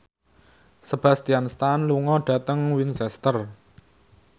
Sebastian Stan lunga dhateng Winchester